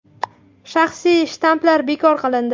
Shaxsiy shtamplar bekor qilindi.